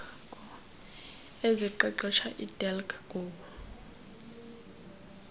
eziqeqesha edelq goa